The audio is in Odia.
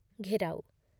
ଘେରାଉ